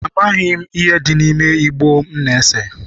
Amaghị m ihe dị n'ime igbo m na-ese.